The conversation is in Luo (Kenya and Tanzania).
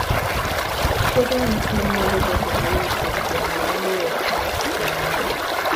Puothe mag cham nyalo dongo mayot e gwenge ma lowo ok ong'ich ahinya